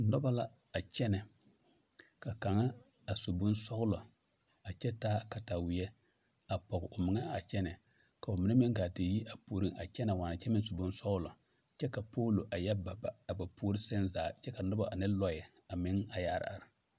Nobɔ la a kyɛnɛ ka kaŋa a su bonsɔglɔ a kyɛ taa kataweɛ a pɔg o meŋa a kyɛnɛ ka ba mine meŋ gaa ti yi a puoreŋ a kyɛnɛ waana kyɛ meŋ su bonsɔglɔ kyɛ ka poolo a yɛ ba ba a ba puore seŋ zaa kyɛ ka nobɔ ane lɔɛ a meŋ a yɛ are are.